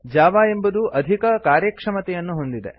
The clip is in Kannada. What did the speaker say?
ಜಾವಾ ಎಂಬುದು ಅಧಿಕ ಕಾರ್ಯಕ್ಷಮತೆಯನ್ನು ಹೊಂದಿದೆ